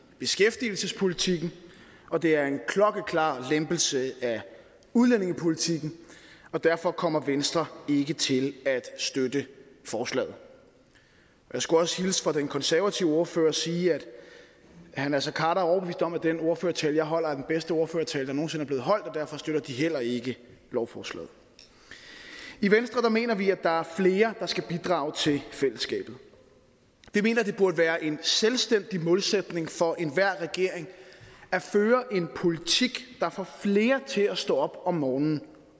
beskæftigelsespolitikken og det er en klokkeklar lempelse af udlændingepolitikken og derfor kommer venstre ikke til at støtte forslaget jeg skulle også hilse fra den konservative ordfører og sige at herre naser khader er overbevist om at den ordførertale jeg holder er den bedste ordførertale der nogen sinde er blevet holdt og derfor støtter de heller ikke lovforslaget i venstre mener vi at der er flere der skal bidrage til fællesskabet vi mener det burde være en selvstændig målsætning for enhver regering at føre en politik der får flere til at stå op om morgenen